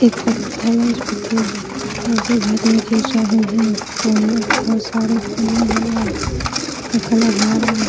एक पत्थल है उस पत्थल मे से झरने गिर रहे हैं बहुत सारे पानीयां लगा का कलर हरा --